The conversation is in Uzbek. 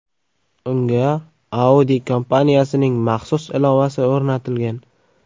Unga Audi kompaniyasining maxsus ilovasi o‘rnatilgan.